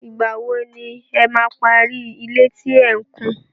Ìgbà wo ni ẹ máa parí ilé tí ẹ̀ ń kùn?